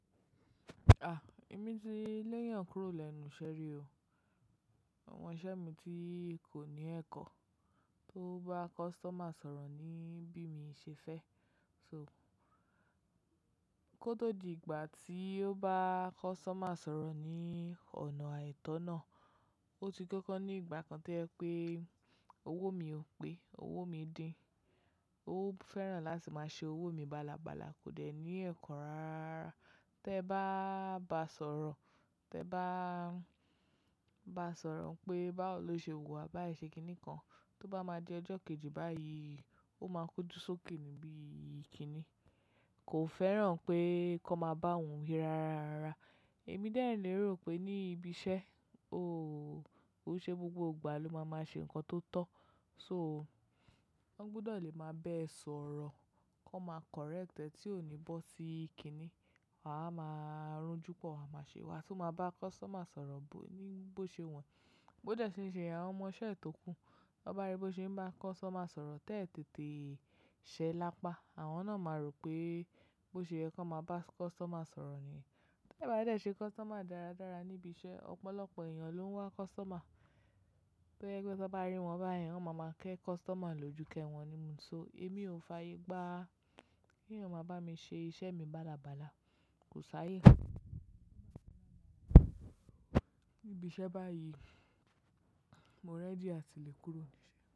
À, èmi ti léyàn kúrò lẹ́nu iṣẹ́ rí o. Àwọn osiṣẹ́ mi tí kò ní ẹ̀kọ́ tó bá customer sọ̀rọ̀ ni bí mi ṣe fẹ́. So kó tó di ìgbà tí ó bá customer sọ̀rọ̀ ní ọ̀nà àìtọ́ náà, ó ti kọ́kọ́ ní ìgbà kan to jẹ pé owó mi ò pé, owó mi din. Ó fẹ́ràn láti máa ṣe owó mi bálabàla kò dẹ̀ ní ẹ̀kọ́ rara. Tẹ bá bá a sọ̀rọ̀, tẹ bá bá a sọ̀rọ̀ pé bá wò lọ ṣe wuwà, bái ṣe kiní kan, tó bá máa di ọjọ́ kejì báyìí, ó máa kojú sókè ní bi kiní. Kò fẹ́ràn pé kan máa bá òun wi rara. Èmi dẹ̀ ń lérò pé ní ibi iṣẹ́, ooo, kó ṣe gbogbo ìgbà ló máa máa ṣe nǹkan tó tọ́. So wọ́n gbudọ̀ lè máa bẹ́ẹ̀ sọ̀rọ̀, kan máa correct ẹ̀ tí ò ní bọ́ sí kiní. Waa wa máa rújúpọ̀, waa máa ṣe, waa tún máa bá customer sọ̀rọ̀ bó-- ní bó ṣe wu e. Bó dẹ̀ ṣe n ṣe yen, àwọn ọmọ iṣẹ́ tókù, tan bá rí bó ṣe n bá customer sọ̀rọ̀ tẹ́ẹ̀ tètè ṣẹ́ lápá, àwọn náà máa rò pé bó ṣe yẹ kan máa bá customer sọ̀rọ̀ niyen. Tẹ bá dẹ̀ ṣe customer dáradára níbi iṣẹ́, ọ̀pọ̀lọpọ̀ èèyàn ló ń wá customer. To jẹ pe tan bá rí wọn báyen, wọ́n máa ma ké customer lójú kẹ́ wọn nimu. So èmi ò fààyè gba kí èèyàn máa bá mi ṣe iṣẹ́ mi bálabàla. Kò sáyé. Níbi iṣẹ́ báyìí, mo rẹ́dí àti lè kúrò ní bi iṣẹ́.